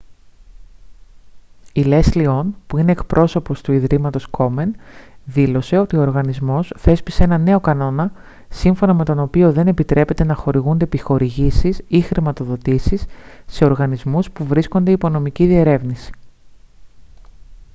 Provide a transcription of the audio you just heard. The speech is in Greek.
η λέσλι ον που είναι εκπρόσωπος του ιδρύματος κόμεν δήλωσε ότι ο οργανισμός θέσπισε έναν νέο κανόνα σύμφωνα με τον οποίο δεν επιτρέπεται να χορηγούνται επιχορηγήσεις ή χρηματοδοτήσεις σε οργανισμούς που βρίσκονται υπό νομική διερεύνηση